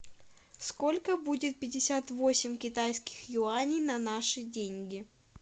сколько будет пятьдесят восемь китайских юаней на наши деньги